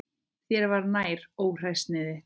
Þér var nær, óhræsið þitt.